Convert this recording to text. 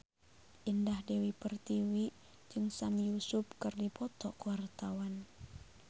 Indah Dewi Pertiwi jeung Sami Yusuf keur dipoto ku wartawan